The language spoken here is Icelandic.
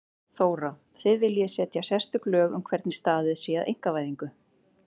Þóra: Þið viljið setja sérstök lög um hvernig staðið sé að einkavæðingu?